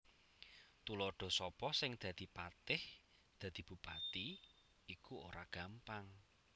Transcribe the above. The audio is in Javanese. Tuladha Sapa sing dadi patih Dadi bupati iku ora gampang